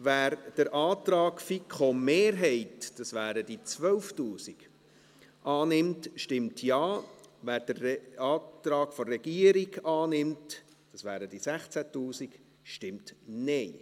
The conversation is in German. Wer den Antrag FiKo-Mehrheit – das wären die 12’000 Franken – annimmt, stimmt Ja, wer den Antrag der Regierung annimmt – das wären die 16’000 Franken –, stimmt Nein.